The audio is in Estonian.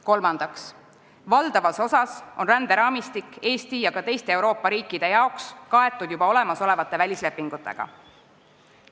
Kolmandaks, valdava osa ränderaamistikust on Eesti ja ka teiste Euroopa riikide puhul juba olemasolevate välislepingutega kaetud.